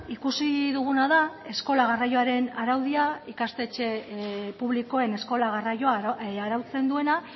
ikusi duguna da eskola garraioaren araudia ikastetxe publikoen eskola garraioa arautzen duena